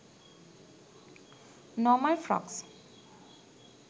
normal frocks